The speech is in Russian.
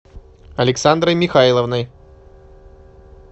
александрой михайловной